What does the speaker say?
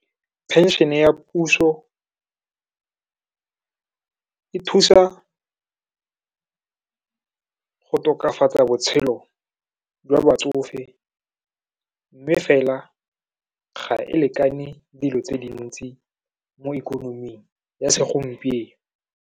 Pension-e ya puso, e thusa go tokafatsa botshelo ba batsofe, mme fela ga e lekane dilo tse di ntsi mo ikonoming ya segompieno.